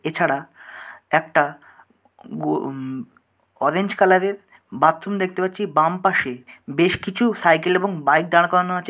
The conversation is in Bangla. এছাড়া একটা গো উম- অরেঞ্জ কালার এর বাথরুম দেখতে পাচ্ছি বাম পাশে। বেশ কিছু সাইকেল এবং বাইক দাঁড় করানো আছে।